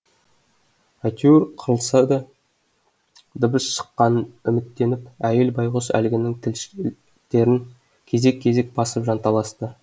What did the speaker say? әйтеуір қырылдаса да дыбыс шыққанынан үміттеніп әйел байғұс әлгінің тілшіктерін кезек кезек басып жанталасты